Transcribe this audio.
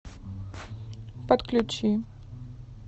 подключи